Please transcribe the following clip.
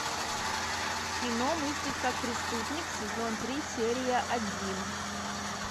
кино мыслить как преступник сезон три серия один